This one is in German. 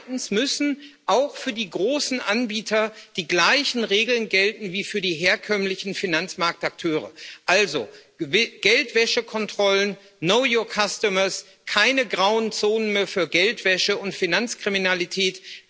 Und zweitens müssen auch für die großen Anbieter die gleichen Regeln gelten wie für die herkömmlichen Finanzmarktakteure, also Geldwäschekontrollen, know your customers keine grauen Zonen mehr für Geldwäsche und Finanzkriminalität.